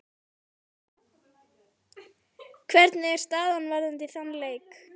Hvernig er staðan varðandi þann leik?